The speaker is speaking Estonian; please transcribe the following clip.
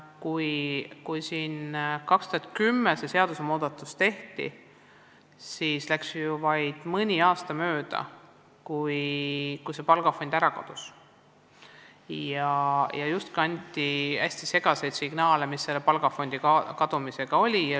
Kui aastal 2010 see seadusmuudatus tehti, siis läks ju vaid mõni aasta mööda, kui see palgafond kusagile ära kadus ja anti hästi segaseid signaale, mis palgafondi kadumise taga oli.